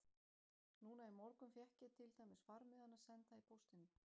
Núna í morgun fékk ég til dæmis farmiðana senda í póstinum.